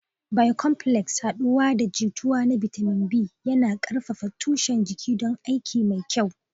Bicomplex, haɗuwa da jituwa na bitamin B, yana ƙarfafa tushen jiki don aiki mafi kyau.